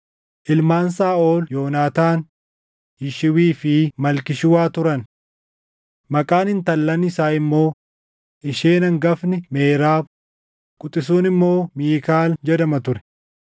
Ilmaan Saaʼol Yoonaataan, Yishwii fi Malkii-Shuwaa turan. Maqaan intallan isaa immoo isheen hangafni Meerab, quxisuun immoo Miikaal jedhama ture.